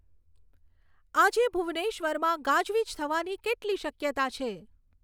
આજે ભુબનેશ્વરમાં ગાજવીજ થવાની કેટલી શક્યતા છે